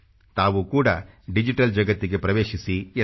ತಾವು ಕೂಡ ಡಿಜಿಟಲ್ ಜಗತ್ತಿಗೆ ಪ್ರವೇಶಿಸಿ ಎಂದು